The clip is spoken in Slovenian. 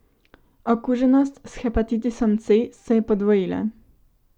Okuženost s hepatitisom C se je podvojila.